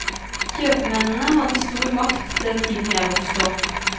Kjøpmennene hadde stor makt den tiden jeg vokste opp.